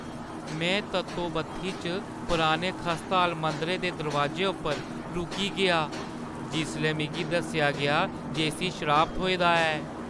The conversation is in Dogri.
मैं तत्तो-बत्थी च पुराने खस्ताहाल मंदरै दे दरोआजे उप्पर रुकी गेआ जिसलै मिगी दस्सेआ गेआ जे इस्सी शराप थ्होए दा ऐ ।